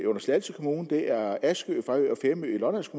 under slagelse kommune det er askø fejø og femø i lollands